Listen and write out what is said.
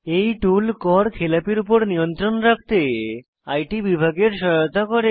এই টুল কর খেলাপির উপর নিয়ন্ত্রণ রাখতে আইটি বিভাগের সহায়তা করে